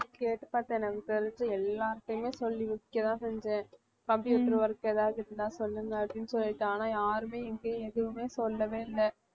கேட்டு பார்த்தேன் நான் விசாரிச்சி எல்லாருகிட்டயுமே சொல்லி வைக்க தான் செஞ்சேன் computer work ஏதாவது இருந்தா சொல்லுங்க அப்படின்னு சொல்லிருக்கேன் ஆனா யாருமே எங்கேயும் எதுவுமே சொல்லவே இல்ல